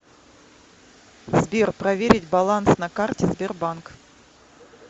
сбер проверить баланс на карте сбербанк